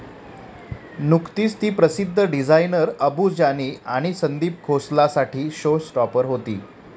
नुकतीच ती प्रसिद्ध डिझायनर अबू जानी आणि संदीप खोसलासाठी शो स्टॉपर होती.